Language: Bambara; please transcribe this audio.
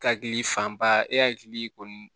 Hakili fanba e hakili kɔni